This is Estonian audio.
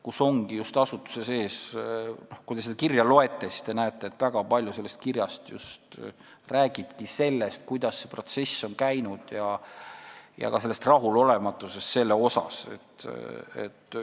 Kui te seda kirja loete, siis te näete, et väga palju räägitaksegi just sellest, kuidas on see protsess käinud, ja ka sellega seotud rahulolematusest.